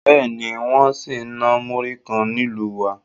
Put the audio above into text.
Bẹ́ẹ̀ ni, wọ́n sì ń náà múrí kan nílùú wa